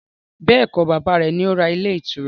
Bẹ́ẹ̀kọ́, bàbá rẹ̀ ni ó ra ilé ìtura